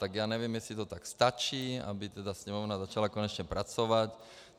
Tak já nevím, jestli to tak stačí, aby teda Sněmovna začala konečně pracovat.